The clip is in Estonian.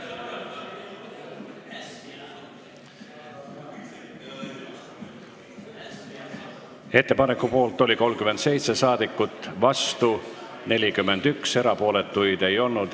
Hääletustulemused Ettepaneku poolt oli 37 ja vastu 41 rahvasaadikut, erapooletuid ei olnud.